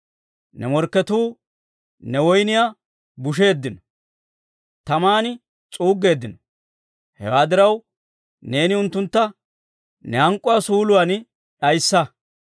Ne morkketuu ne woyniyaa butseeddino; taman s'uuggeeddino. Hewaa diraw, neeni unttuntta ne hank'k'uwaa suuluwaan d'ayissa.